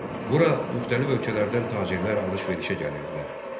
Bura müxtəlif ölkələrdən tacirlər alış-verişə gəlirdilər.